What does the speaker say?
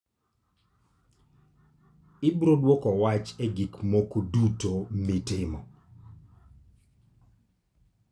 Ibiro dwoko wach e gik moko duto mitimo.